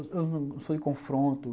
Eu não sou de confronto.